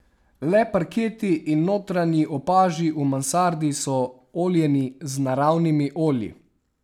Le parketi in notranji opaži v mansardi so oljeni z naravnimi olji.